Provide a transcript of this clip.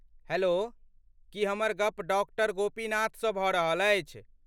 Hello, की हमर गप डॉक्टर गोपीनाथसँ भऽ रहल अछि?